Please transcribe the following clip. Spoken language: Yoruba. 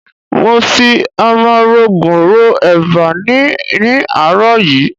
Mo fi ọmọrogùn ro eba ni ní àárọ̀ yìí.